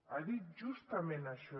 ha dit justament això